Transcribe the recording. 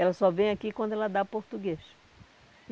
Ela só vem aqui quando ela dá português.